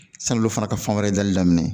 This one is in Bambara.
San'olu fana ka fan wɛrɛ dali daminɛ